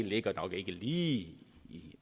ligger nok ikke lige